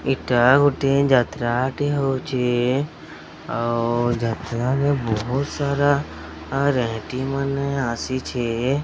ଏଟା ଗୋଟିଏ ଯାତ୍ରାଟେ ହଉଛେ। ଆଉ ଯାତ୍ରାରେ ବୋହୁତ ସାରା ରେହେଟି ମାନ ଆସିଛେ।